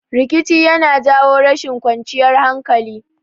Rikici yana jawo rashin kwanciyar hankali